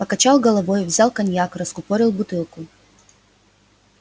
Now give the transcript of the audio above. покачал головой взял коньяк раскупорил бутылку